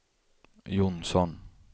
Johnsson